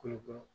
Kolokolo